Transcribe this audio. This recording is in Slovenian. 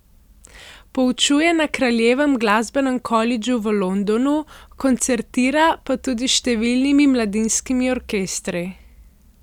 Poučuje na Kraljevem glasbenem kolidžu v Londonu, koncertira pa tudi s številnimi mladinskimi orkestri.